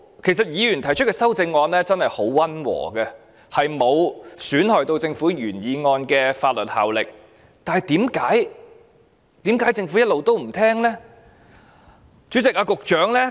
其實議員提出的修訂議案真的很溫和，沒有損害政府原來決議案的法律效力，為何政府一直不聆聽呢？